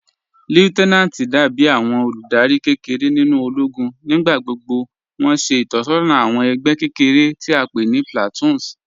Lieutenanti dàbí àwọn olúdárì kẹ́kẹ̀rẹ̀ nínu òlógún. Nígbàgbọ́gbọ́ wọn ṣẹ̀ itọsọna àwọn ẹgbẹ kẹ́kẹ̀rẹ̀ tí a pẹ̀ ní "platoons"